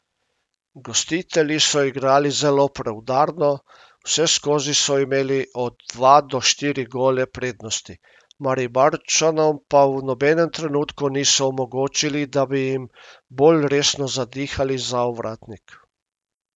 Gostitelji so igrali zelo preudarno, vseskozi so imeli od dva do štiri gole prednosti, Mariborčanom pa v nobenem trenutku niso omogočili, da bi jim bolj resno zadihali za ovratnik.